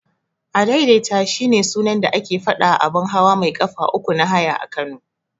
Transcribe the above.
Adaidaita shine sunan da ake faɗawa abun hawa mai ƙafa uku na haya a Kano.